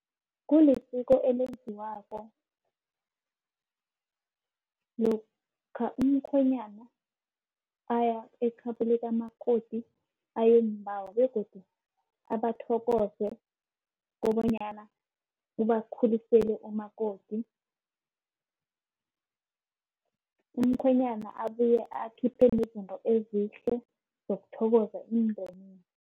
Kulisiko elenziwako lokha umkhwenyana aya ekhabo likamakoti ayomubawa begodu abathokoze kobanyana, ubakhulisele umakoti. Umkhwenyana abuye akhiphe nezinto ezihle zokuthokoza umndeni.